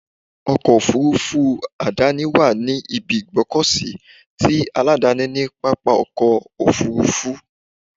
Ọkọ̀ Òfurufú àdáni wà ní ibi ìgbọ́kọ̀sí ti aládàáni ni pápá ọkọ̀ Òfurufú.